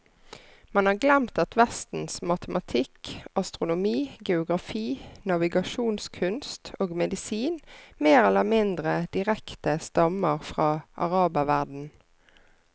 Man har glemt at vestens matematikk, astronomi, geografi, navigasjonskunst og medisin mer eller mindre direkte stammer fra araberverdenen.